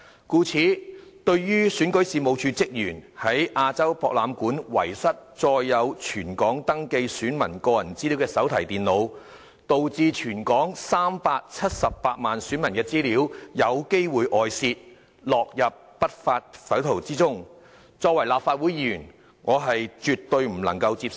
故此，對於選舉事務處職員在亞洲博覽館遺失載有全港登記選民個人資料的手提電腦，導致全港378萬選民的資料有機會外泄，落入不法匪徒手中，身為立法會議員，我絕對不能接受。